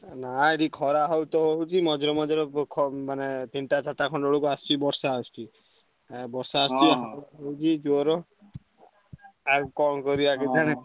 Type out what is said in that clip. ନା ଏଠି ଖରା ବହୁତ ହଉଛି ମଝିରେ ମଝିରେ ବ ଖ ମାନେ ତିନିଟା ଚାରିଟା ଖଣ୍ଡେ ବେଳକୁ ଆସୁଛି ବର୍ଷା ଆସୁଛି। ଆଉ ବର୍ଷା ଆସୁଛି ବହୁତ ହିଁ ଜୋର। ଆଉ କଣ କରିଆ କେଜାଣି।